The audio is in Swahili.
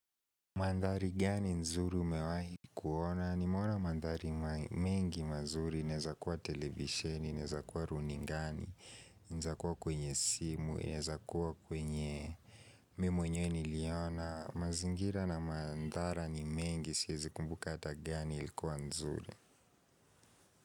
Mandhari gani nzuri umewahi kuona? Nimeona mandhari mengi mazuri, inezakuwa televisheni, inezakuwa runingani, inezakuwa kwenye simu, inezakuwa kwenye mimi mwenyewe niliona. Mazingira na mandhari mengi, siezi kumbuka ata gani ilikuwa nzuri.